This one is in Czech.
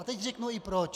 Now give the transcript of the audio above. A teď řeknu i proč.